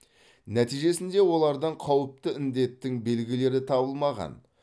нәтижесінде олардан қауіпті індеттің белгілері табылмаған